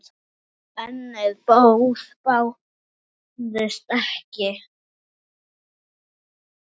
Önnur boð bárust ekki.